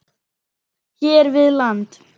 hér við land.